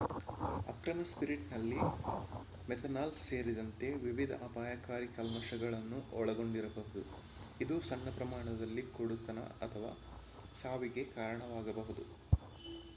ಅಕ್ರಮ ಸ್ಪಿರಿಟ್ ನಲ್ಲಿ ಮೆಥನಾಲ್ ಸೇರಿದಂತೆ ವಿವಿಧ ಅಪಾಯಕಾರಿ ಕಲ್ಮಶಗಳನ್ನು ಒಳಗೊಂಡಿರಬಹುದು ಇದು ಸಣ್ಣ ಪ್ರಮಾಣದಲ್ಲಿ ಕುರುಡುತನ ಅಥವಾ ಸಾವಿಗೆ ಕಾರಣವಾಗಬಹುದು